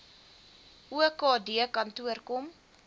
okd kantoor kom